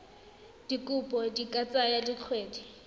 dikopo di ka tsaya dikgwedi